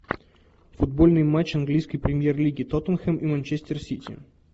футбольный матч английской премьер лиги тоттенхэм и манчестер сити